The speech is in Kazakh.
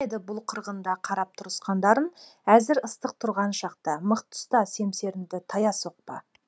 болмайды бұл қырғында қарап тұрысқандарың әзір ыстық тұрған шақта мықты ұста семсеріңді тая соқпа